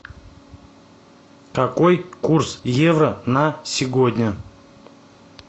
какой курс евро на сегодня